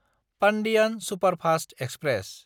Pandian superfast express